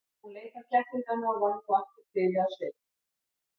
Hún leit á kettlingana og varð nú aftur blíðleg á svipinn.